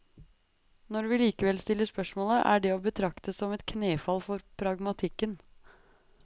Når vi likevel stiller spørsmålet, er det å betrakte som et knefall for pragmatikken.